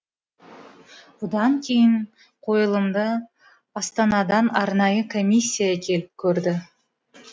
бұдан кейін қойылымды астанадан арнайы комиссия келіп көрді